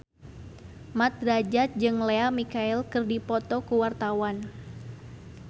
Mat Drajat jeung Lea Michele keur dipoto ku wartawan